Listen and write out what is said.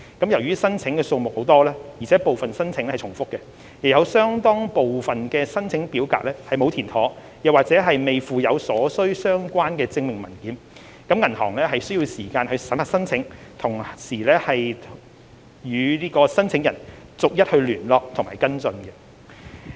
由於申請數目眾多，而且部分申請重複，亦有相當部分申請表格沒有填妥或未附有所需相關證明文件，銀行需要時間審核申請並與申請人逐一聯絡和跟進。